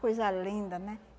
Coisa linda, né?